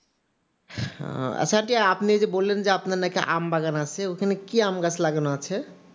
আচ্ছা আপনি যে বললেন আপনার নাকি আমবাগান আছে তো ওখানে কি আম গাছ লাগানো আছে?